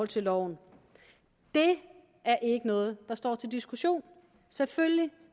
til loven det er ikke noget der står til diskussion selvfølgelig